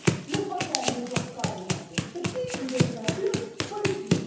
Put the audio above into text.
Le problème n'est donc pas de nature technique, il est de nature politique.